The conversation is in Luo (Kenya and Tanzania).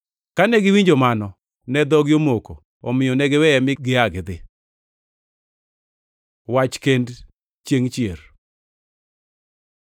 Kane giwinjo mano, to ne dhogi omoko. Omiyo ne giweye mi gia gidhi. Wach kend chiengʼ chier